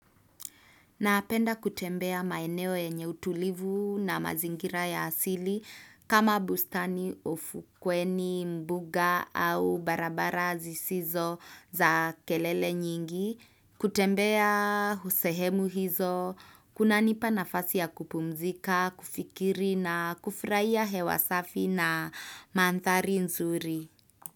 Napenda kutembea maeneo yenye utulivu na mazingira ya asili kama bustani ufukweni, mbuga au barabara zisizo za kelele nyingi. Kutembea husehemu hizo, kunanipa nafasi ya kupumzika, kufikiri na kufuraia hewasafi na mandhari nzuri.